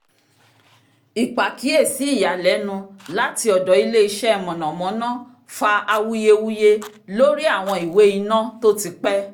ìpàkíyèsí ìyàlẹ́nu láti ọ̀dọ̀ ilé iṣẹ́ mọ̀nàmọ́ná fa awuyewuye lórí àwọn ìwé iná to ti pẹ́